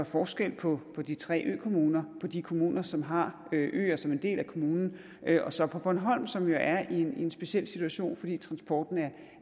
forskel på på de tre økommuner på de kommuner som har øer som en del af kommunen og så på bornholm som jo er i en speciel situation fordi transporttiden